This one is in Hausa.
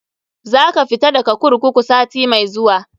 Za ka fita daga kurkuku sati mai zuwa.